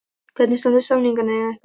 Hvernig standa samningamálin ykkar?